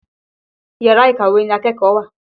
Yàrá ìkàwé ni akẹ́kọ̀ọ́ ń wà.